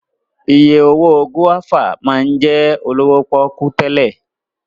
Iye owó gúáfà máa ń jẹ́ olówó pọ́kú tẹ́lẹ̀